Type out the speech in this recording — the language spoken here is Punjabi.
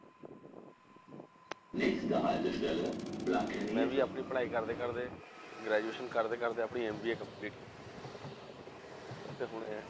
ਮੈਂ ਵੀ ਆਪਣੀ ਪੜ੍ਹਾਈ ਕਰਦੇ ਕਰਦੇ graduation ਕਰਦੇ ਕਰਦੇ ਆਪਣੀ MBA complete ਕੀਤੀ ਹੈ ਤੇ ਹੁਣ ਇਹ